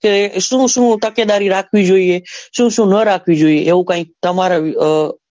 શું શું તકેદારી રાખવી જોઈએ શું શું નાં રાખવી જોઈએ એવી કઈક તમારા.